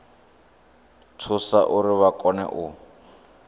thusa uri vha kone u